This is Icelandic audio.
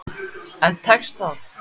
En tekst það?